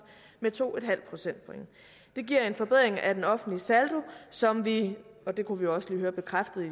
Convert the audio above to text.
med to procentpoint det giver en forbedring af den offentlige saldo som vi og det kunne vi også lige høre bekræftet i